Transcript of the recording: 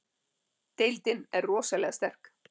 Deildin er rosalega sterk